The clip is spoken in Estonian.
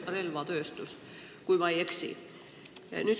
Relvatööstus on seal, kui ma ei eksi.